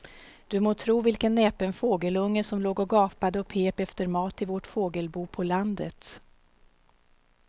Du må tro vilken näpen fågelunge som låg och gapade och pep efter mat i vårt fågelbo på landet.